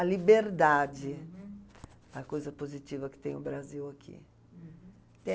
A liberdade é a coisa positiva que tem o Brasil aqui. Eh